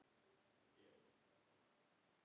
Auður Björt og Ásta Steina.